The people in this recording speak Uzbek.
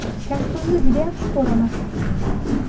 Kasbimni juda yaxshi ko‘raman.